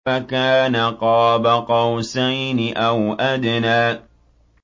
فَكَانَ قَابَ قَوْسَيْنِ أَوْ أَدْنَىٰ